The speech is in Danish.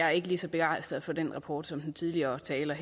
er lige så begejstret for den rapport som den tidligere taler